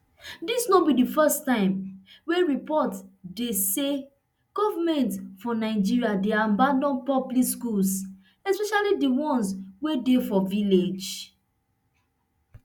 dis no be di first time wey report dey say goment for nigeria dey abandon public schools especially di ones wey dey for village